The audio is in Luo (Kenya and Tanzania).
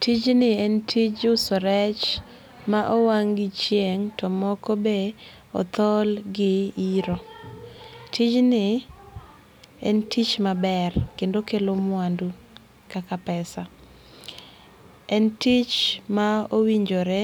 Tijni en tij uso rech ma owang' gi chieng to moko be othol gi iro. Tijni en tich maber kendo okelo mwandu kaka pesa. En tich ma owinjore